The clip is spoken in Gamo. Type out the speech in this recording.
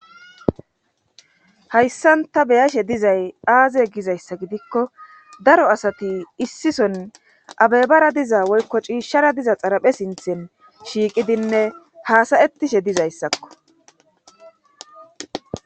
Hayssan ta be'ashe dizay aaze gizayssa gidikko daro asati issison abebara diza woykko ciishshara diza xaraphe sinthen shiiqidinne haasayettishe dizayssakko